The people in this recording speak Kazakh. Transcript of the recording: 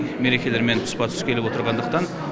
мерекелермен тұспа тұс келіп отырғандықтан